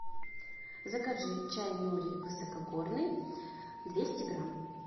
закажи чай нури высокогорный двести грамм